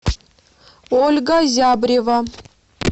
ольга зябрева